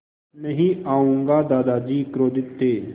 नहीं आऊँगा दादाजी क्रोधित थे